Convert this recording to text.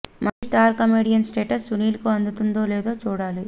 మళ్లీ star comedian status Sunil కు అందుతుందో లేదో చూడాలి